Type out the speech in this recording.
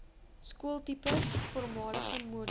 skooltipes voormalige model